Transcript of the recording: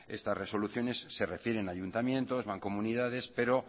estas resoluciones se refieren a ayuntamiento mancomunidades pero